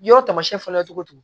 Yɔrɔ taamasiyɛn fɔlɔ ye cogo di